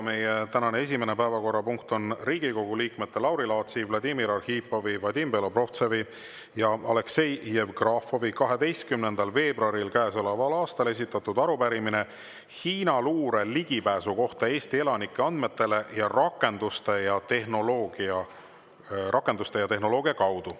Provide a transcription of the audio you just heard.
Meie tänane esimene päevakorrapunkt on Riigikogu liikmete Lauri Laatsi, Vladimir Arhipovi, Vadim Belobrovtsevi ja Aleksei Jevgrafovi käesoleva aasta 12. veebruaril esitatud arupärimine Hiina luure ligipääsu kohta Eesti elanike andmetele rakenduste ja tehnoloogia kaudu.